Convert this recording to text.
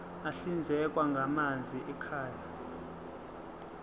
ahlinzekwa ngamanzi ekhaya